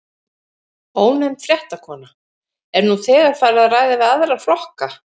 Ónefnd fréttakona: Er nú þegar farið að ræða við aðra flokka?